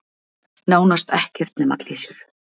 Nánast ekkert nema klisjur.